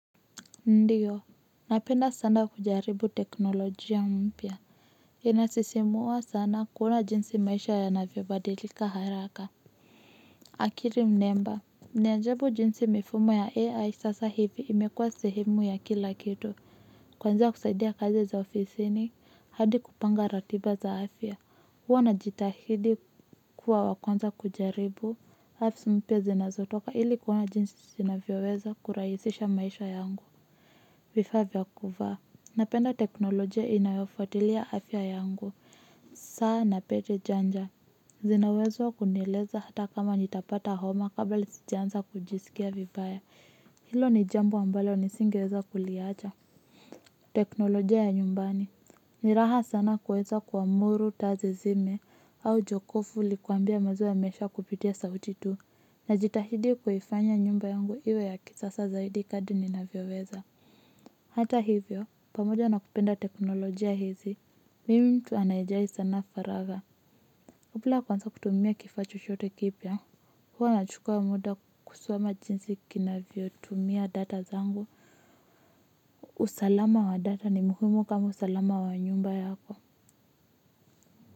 Ndiyo napenda sana kujaribu teknolojia mpya inasisimua sana kuona jinsi maisha yanavyobadilika haraka akili mnemba ni ajabu jinsi mifumo ya AI sasa hivi imekua sehemu ya kila kitu kuanzia kusaidia kazi za ofisini hadi kupanga ratiba za afya huwa najitahidi kuwa wa kwanza kujaribu apps mpya zinazotoka ili kuona jinsi zinavyoweza kurahisisha maisha yangu vifaa vya kuvaa napenda teknolojia inayofuatilia afya yangu saa na pete janja zinawezwa kunieleza hata kama nitapata homa kabla sijaanza kujiskia vibaya hilo ni jambo ambalo nisingiweza kuliacha teknolojia ya nyumbani ni raha sana kuweza kuamuru taa zizime au jokofu likuambie maziwa yameisha kupitia sauti tu najitahidi kuifanya nyumba yangu iwe ya kisasa zaidi kadri ninavyoweza hata hivyo pamoja na kupenda teknolojia hizi mimi mtu anayejali sana faragha kabla kuanza kutumia kifaa chochote kipya huwa nachukua muda kusoma jinsi kinavyotumia data zangu usalama wa data ni muhimu kama usalama wa nyumba yako.